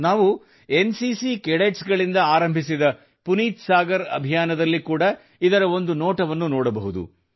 ನಾವು N C C cadets NCC Cadetsಗಳಿಂದ ಆರಂಭಿಸಿದ ಪುನೀತ್ ಸಾಗರ್ ಅಭಿಯಾನದಲ್ಲಿ ಕೂಡಾ ಇದರ ಒಂದು ನೋಟವನ್ನು ಕಾಣಬಹುದು